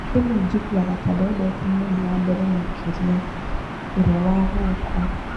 "Rĩmwe njiguaga ta ndendete mũndũ wa mbere makĩria, ũrĩa wa guoko.